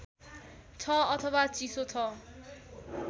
छ अथवा चिसो छ